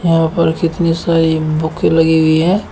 यहां पर कितनी सारी बुकें लगी हुई हैं।